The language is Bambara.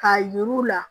K'a yir'u la